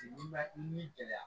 Ni bɛ ni gɛlɛya